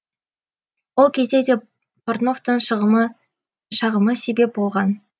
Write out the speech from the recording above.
ол кезде де портновтың шағымы себеп болған